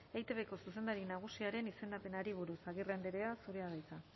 eitbko zuzendari nagusiaren izendapenari buruz agirre andrea zurea da hitza